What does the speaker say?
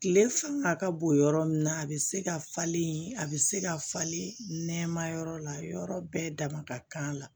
Tile fanga ka bon yɔrɔ min na a bɛ se ka falen a bɛ se ka falen nɛma yɔrɔ la yɔrɔ bɛɛ dama ka kan a la